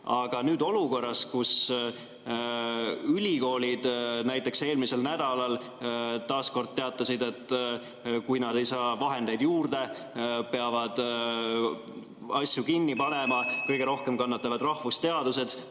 Aga olukorras, kus ülikoolid näiteks eelmisel nädalal taas kord teatasid, et kui nad ei saa vahendeid juurde, peavad nad kinni panema, kannatavad kõige rohkem rahvusteadused.